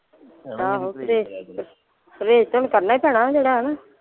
ਆਹੋ ਪ੍ਰਹੇਜ ਤੇ ਪ੍ਰਹੇਜ ਤੇ ਹੁਣ ਕਰਨਾ ਹੀ ਪੈਣਾ ਜਿਹੜਾ ਆ ਨਾ।